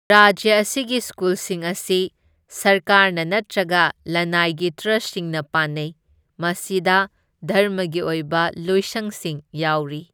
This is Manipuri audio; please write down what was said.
ꯔꯥꯖ꯭ꯌ ꯑꯁꯤꯒꯤ ꯁ꯭ꯀꯨꯜꯁꯤꯡ ꯑꯁꯤ ꯁꯔꯀꯥꯔꯅ ꯅꯠꯇ꯭ꯔꯒ ꯂꯅꯥꯏꯒꯤ ꯇ꯭ꯔꯁꯁꯤꯡꯅ ꯄꯥꯟꯅꯩ, ꯃꯁꯤꯗ ꯙꯔꯃꯒꯤ ꯑꯣꯏꯕ ꯂꯣꯏꯁꯪꯁꯤꯡ ꯌꯥꯎꯔꯤ꯫